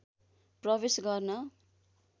प्रवेश गर्न